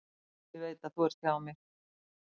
Ég veit að þú ert hjá mér.